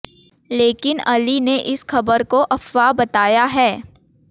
लेकिन अली ने इस खबर को अफवाह बताया है